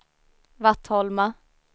Vattholma